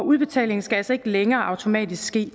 udbetalingen skal altså ikke længere automatisk ske